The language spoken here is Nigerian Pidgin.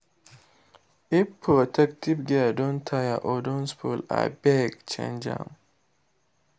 if protective gear don tear or don spoil abeg change am.